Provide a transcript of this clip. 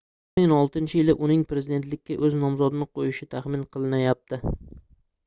2016-yili uning prezidentlikka oʻz nomzodini qoʻyishi taxmin qilinyapti